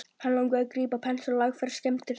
Hann langaði að grípa pensil og lagfæra skemmdirnar.